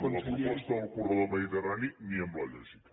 amb la proposta del corredor mediterrani ni amb la lògica